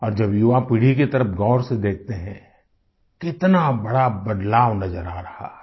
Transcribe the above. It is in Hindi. और जब युवा पीढ़ी की तरफ गौर से देखते हैं कितना बड़ा बदलाव नजर आ रहा है